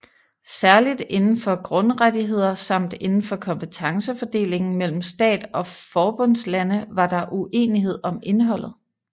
Særligt indenfor grundrettigheder samt indenfor kompetencefordelingen mellem stat og forbundslande var der uenighed om indholdet